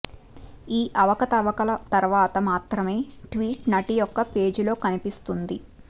ఈ అవకతవకల తర్వాత మాత్రమే ట్వీట్ నటి యొక్క పేజీలో కనిపిస్తుంది